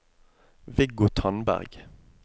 Viggo Tandberg